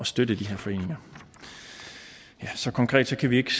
støtte de her foreninger så konkret kan vi ikke